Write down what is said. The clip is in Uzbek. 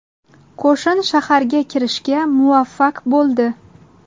Qo‘shin shaharga kirishga muvaffaq bo‘ldi.